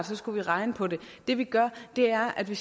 så skulle regne på det det vi gør er at vi